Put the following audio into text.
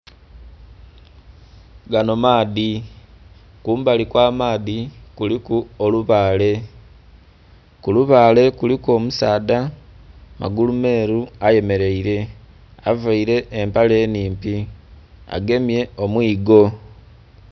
Ganho maadhi kumbali kwa maadhi kuliku olubale, kulubale kuliku omusaadha magulu meru ayemereire avaire empale nnhimpi agemye omwiga.